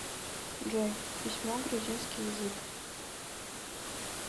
джой письмо грузинский язык